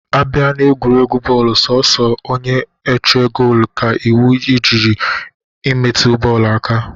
Abịa n'egwuregwu bọọlụ, sọọsọ onye-eche goolu ka iwu ejighị imetụ bọọlụ aka.